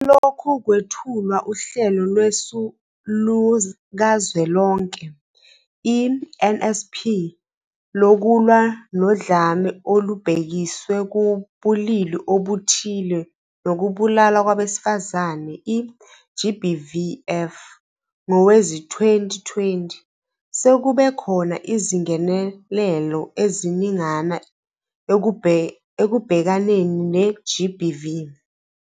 Selokhu kwethulwa uHlelo Lwesu Lukazwelonke, i-NSP, Lokulwa noDlame Olubhekiswe Kubulili Obuthile Nokubulawa Kwabesifazane, i-GBVF, ngowezi-2020, sekubekhona izingenelelo eziningana ekubhekaneni ne-GBV.